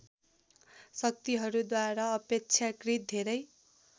शक्तिहरूद्वारा अपेक्षाकृत धेरै